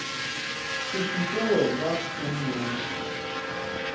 se šupe wena o nnoši